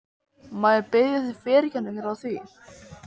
Má ég biðja þig fyrirgefningar á því?